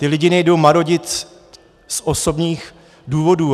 Ty lidi nejdou marodit z osobních důvodů.